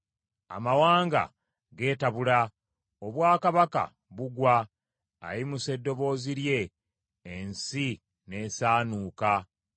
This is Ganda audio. Amawanga geetabula, obwakabaka bugwa; ayimusa eddoboozi lye ensi n’esaanuuka.